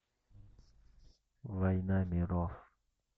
война миров